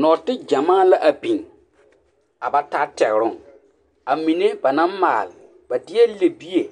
Nɔɔteɡyamaa la a biŋ a ba taa tɛɡeroŋ a mine ba naŋ maale ba deɛ libie